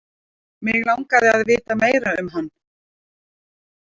Mig langaði að vita meira um hann.